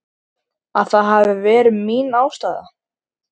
Að það hafi verið mín ástæða.